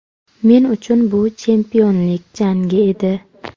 Men uchun bu chempionlik jangi edi.